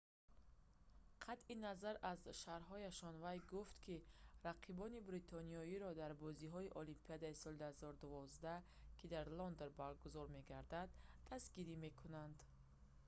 қатъи назар аз шарҳҳояш вай гуфт ки рақибони бритониёро дар бозиҳои олимпии соли 2012 ки дар лондон баргузор мегардад дастгирӣ мекунад